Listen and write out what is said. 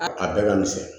A a bɛɛ ka misɛn